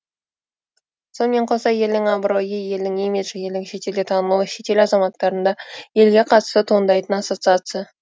сонымен қоса елдің абыройы елдің имиджі елдің шетелде танылуы шетел азаматтарында елге қатысты туындайтын ассоциация